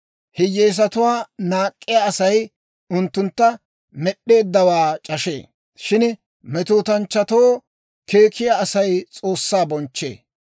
Hiyyeesatuwaa naak'k'iyaa Asay unttuntta Med'd'eeddawaa c'ashee; shin metootanchchatoo keekkiyaa Asay S'oossaa bonchchee.